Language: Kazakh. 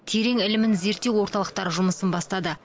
терең ілімін зерттеу орталықтары жұмысын бастады